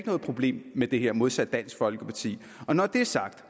noget problem med det her modsat dansk folkeparti når det er sagt